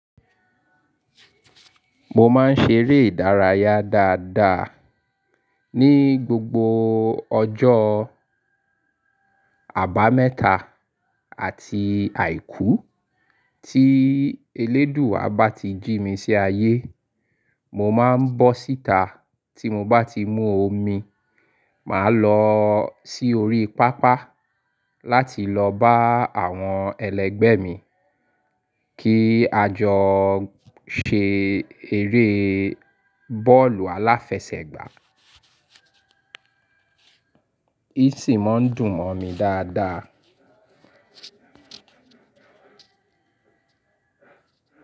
Mo máa ń ṣe eré ìdárayá dáadáa ní gbogbo ọjọ́ Àbámẹ́ta àti Àìkú tí elédùà bá ti jí mi sí ayé. Mo máa ń bọ́ síta tí mo bá ti mu omi, màá lọ sí orí pápá láti lọ bá àwọn ẹlẹgbẹ́ mi kí a jọ ṣe eré bọ́ọ̀lù aláfẹsẹ̀gbá. Í sì máa ń dùn mọ́ mi dáadáa.